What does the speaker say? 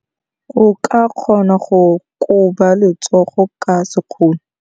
O ka kgona go koba letsogo ka sekgono.